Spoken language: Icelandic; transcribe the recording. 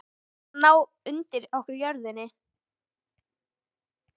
Til þess að reyna að ná undir okkur jörðinni?